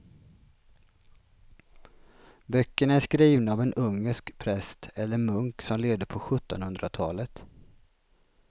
Böckerna är skrivna av en ungersk präst eller munk som levde på sjuttonhundratalet.